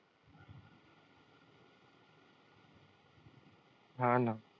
हां ना.